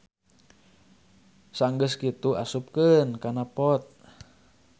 Sanggeu kitu asupkeun kan pot.